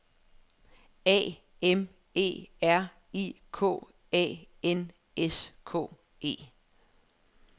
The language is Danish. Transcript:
A M E R I K A N S K E